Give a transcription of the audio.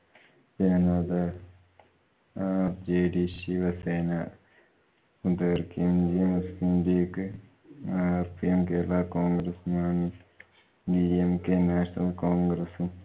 Janata Dal, rjd, Shiv Sena, , Muslim League, , Kerala Congress Mani, dmk National Congress